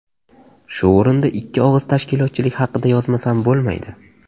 Shu o‘rinda ikki og‘iz tashkilotchilik haqida yozmasam bo‘lmaydi.